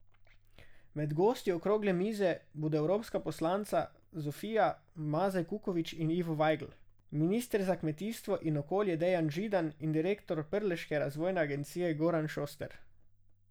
Med gosti okrogle mize bodo evropska poslanca Zofija Mazej Kukovič in Ivo Vajgl, minister za kmetijstvo in okolje Dejan Židan in direktor Prleške razvojne agencije Goran Šoster.